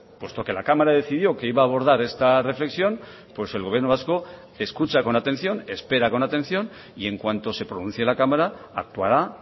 puesto que la cámara decidió que iba a abordar esta reflexión pues el gobierno vasco escucha con atención espera con atención y en cuanto se pronuncie la cámara actuará